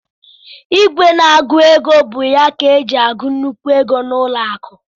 ìgwè na - agụ égo bụ ya ka eji agụ nnukwu égo na ụlọ akụ